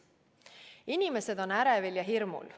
Inimesed on ärevil ja hirmul.